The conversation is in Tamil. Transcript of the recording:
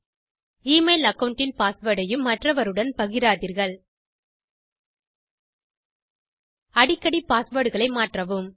எமெயில் அகாவுண்ட் இன் பாஸ்வேர்ட் ஐயும் மற்றவருடன் பகிராதீர்கள் அடிக்கடி பாஸ்வேர்ட் களை மாற்றவும்